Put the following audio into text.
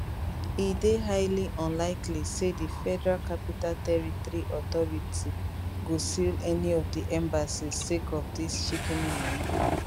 e dey highly unlikely say di federal capital territory authority go seal any of di embassies sake of dis shikini moni